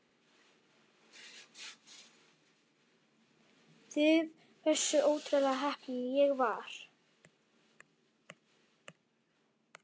Vitið þið hversu ótrúlega heppinn ég var?